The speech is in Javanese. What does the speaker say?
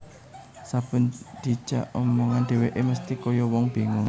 Saben dijak omongan dheweke mesthi kaya wong bingung